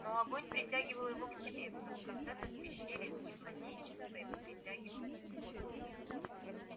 но огонь притягивал его к себе как когда то в пещере в дни младенчества его притягивал свет